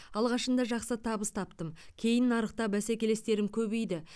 алғашында жақсы табыс таптым кейін нарықта бәсекелестерім көбейді